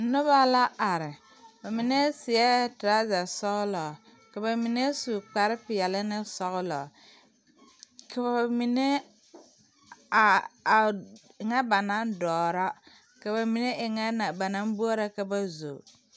Noba la are ba mine seɛɛ toraza sɔglɔ ka ba mine su kpare peɛle ne sɔglɔ ka ba mine a e ŋa ba naŋ dɔɔra ka ba mine e ŋɛ ba naŋ boɔrɔ ka ba zo.